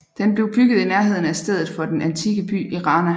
Den blev bygget i nærheden af stedet for den antikke by Erana